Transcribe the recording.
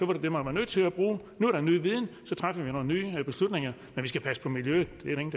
det det man var nødt til at bruge nu er der ny viden og så træffer vi nogle nye beslutninger men vi skal passe på miljøet